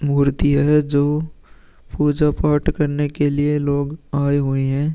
मूर्ति है जो पूजा पाठ करने के लिए लोग आए हुए हैं।